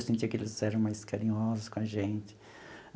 Eu sentia que eles eram mais carinhosos com a gente.